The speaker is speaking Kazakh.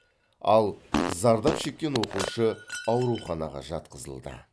ал зардап шеккен оқушы ауруханаға жатқызылды